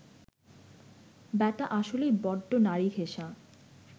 ব্যাটা আসলেই বড্ড নারীঘেঁষা